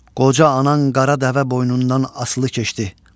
Qoca anan qara dəvə boynundan asılı keçdi.